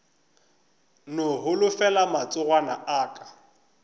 no holofela matsogwana a aka